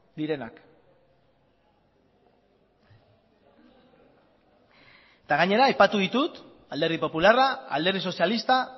direnak eta gainera aipatu ditut alderdi popularra alderdi sozialista